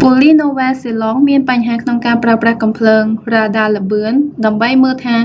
ប៉ូលីសនូវែលសេឡង់មានបញ្ហាក្នុងការប្រើប្រាស់កាំភ្លើងរ៉ាដាល្បឿន ដើម្បីមើលថា